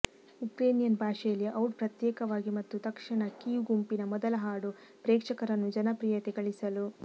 Ukrainian ಭಾಷೆಯಲ್ಲಿ out ಪ್ರತ್ಯೇಕವಾಗಿ ಮತ್ತು ತಕ್ಷಣ ಕೀವ್ ಗುಂಪಿನ ಮೊದಲ ಹಾಡು ಪ್ರೇಕ್ಷಕರನ್ನು ಜನಪ್ರಿಯತೆ ಗಳಿಸಲು